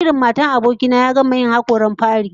Jaririn matar aboki na ya gama yin hakoran fari